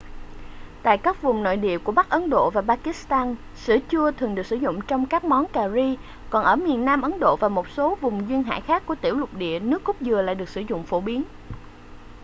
tại các vùng nội địa của bắc ấn độ và pakistan sữa chua thường được sử dụng trong các món cà ri còn ở miền nam ấn độ và một số vùng duyên hải khác của tiểu lục địa nước cốt dừa lại được sử dụng phổ biến